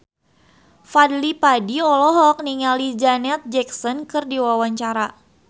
Fadly Padi olohok ningali Janet Jackson keur diwawancara